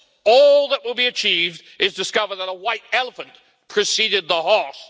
All that will be achieved is to discover that a white elephant preceded the horse.